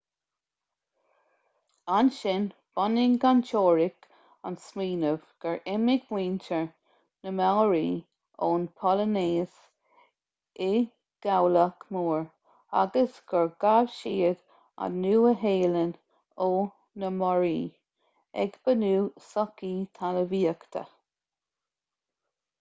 ansin bhunaigh an teoiric an smaoineamh gur imigh muintir na maori ón bpolainéis i gcabhlach mór agus gur ghabh siad an nua-shéalainn ó na moriori ag bunú sochaí talmhaíochta